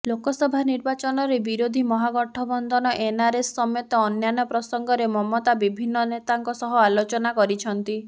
ଲୋକସଭା ନିର୍ବାଚନରେ ବିରୋଧୀ ମହାଗଠବନ୍ଧନ ଏନ୍ଆରଏସ୍ ସମେତଅନ୍ୟାନ୍ୟ ପ୍ରସଙ୍ଗରେ ମମତା ବିଭିନ୍ନ ନେତାଙ୍କ ସହ ଆଲୋଚନା କରିଛନ୍ତି